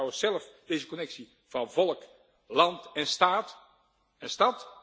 Hoe ziet u trouwens zelfs deze connectie van volk, land en staat en stad?